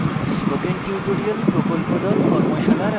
spoken tutorial প্রকল্প the